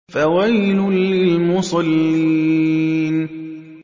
فَوَيْلٌ لِّلْمُصَلِّينَ